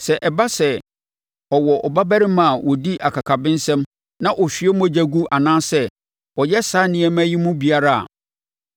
“Sɛ ɛba sɛ ɔwɔ ɔba barima a ɔdi akakabensɛm na ɔhwie mogya gu anaasɛ ɔyɛ saa nneɛma yi mu biara a